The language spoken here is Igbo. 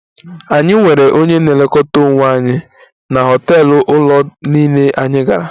Anyị nwere onye na-elekọta onwe anyị na họtel ụlọ niile anyị gara